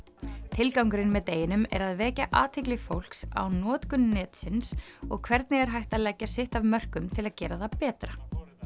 tilgangurinn með deginum er að vekja athygli fólks á notkun netsins og hvernig er hægt að leggja sitt af mörkum til að gera það betra